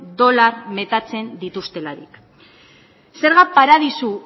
dolar metatzen dituztelarik zerga paradisu